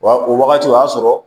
Wa o wagati o y'a sɔrɔ